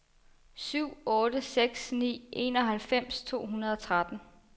syv otte seks ni enoghalvfems to hundrede og tretten